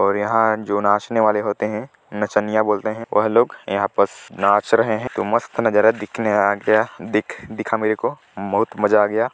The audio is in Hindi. और यहाँ जो नाचने वाले होते है नचनिया बोलते है वह लोग यहाँ पस नाच रहे है तो मस्त नजारा दिखने आ गया दिख दिखा मेरे को बहुत मजा आ गया --